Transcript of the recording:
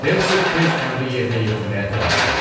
Herseq tez əmri yerinə yetirməyə tələsdi.